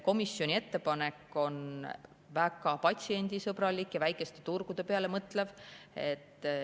Komisjoni ettepanek on väga patsiendisõbralik ja väikeste turgude peale mõtlev.